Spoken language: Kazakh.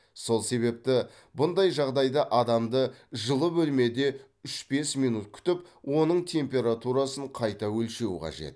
сол себепті бұндай жағдайда адамды жылы бөлмеде үш бес минут күтіп оның температурасын қайта өлшеу қажет